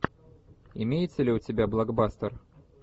имеется ли у тебя блокбастер